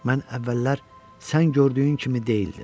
Mən əvvəllər sən gördüyün kimi deyildim.